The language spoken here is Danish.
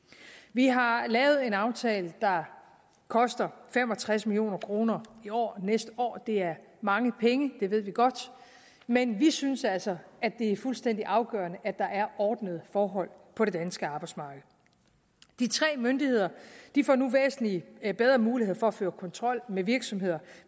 vi har lavet en aftale der koster fem og tres million kroner i år og næste år det er mange penge det ved vi godt men vi synes altså at det er fuldstændig afgørende at der er ordnede forhold på det danske arbejdsmarked de tre myndigheder får nu væsentlig bedre muligheder for at føre kontrol med virksomheder